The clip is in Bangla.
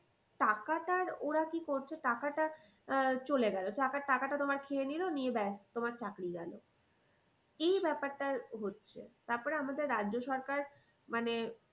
টাকাটার ওরা কি করছে টাকাটা আহ চলে গেলো টাকাটা তোমার খেয়ে নিলো নিয়ে ব্যাস তোমার চাকরি গেলো এই ব্যাপারটা হচ্ছে। তারপরে আমাদের রাজ্য সরকার